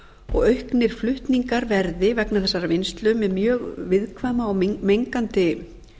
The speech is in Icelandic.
og auknir flutningar verði vegna þessarar vinnslu með mjög viðkvæma og mengandi